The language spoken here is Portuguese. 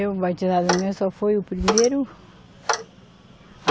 Eu, batizada minha, só foi o primeiro.